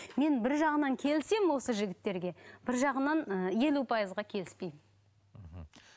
мен бір жағынан келісемін осы жігіттерге бір жағынан ыыы елу пайызға келіспеймін мхм